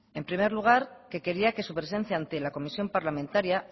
en primer lugar quería que su presencia ante la comisión parlamentaria